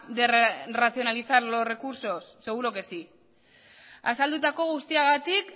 de racionalizar los recursos seguro que sí azaldutako guztiagatik